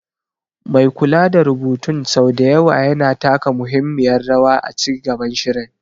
Mai kula da rubutun sau da yawa yana taka muhimmiyar rawa a ci gaban shirin.